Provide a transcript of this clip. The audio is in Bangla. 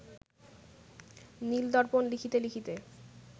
নীল-দর্পণ লিখিতে লিখিতে